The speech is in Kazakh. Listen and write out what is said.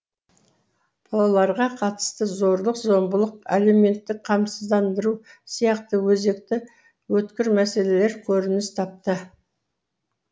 балаларға қатысты зорлық зомбылық әлеуметтік қамсыздандыру сияқты өзекті өткір мәселелер көрініс тапты